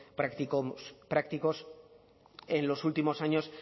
prácticos en los últimos años